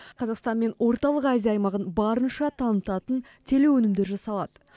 қазақстан мен орталық азия аймағын барынша танытатын телеөнімдер жасалады